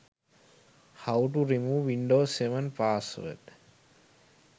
how to remove windows 7 password